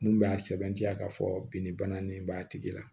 Mun b'a sɛbɛntiya k'a fɔ bin ni bana nin b'a tigi la